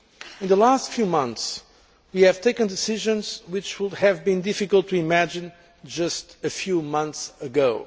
In the last few months, we have taken decisions which would have been difficult to imagine just a few months ago.